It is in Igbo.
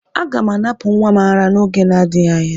Aga m anapụ nwa m ara n'oge n'adịghị anya.